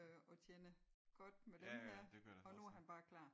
Øh og tjener godt med dem her og nu er han bare klar